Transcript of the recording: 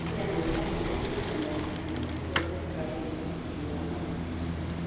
Kenya nĩ ĩrahiũrania na moritũ ma gũthondeka ũrigitani wa andũ akũrũ.